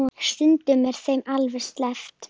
Stundum er þeim alveg sleppt.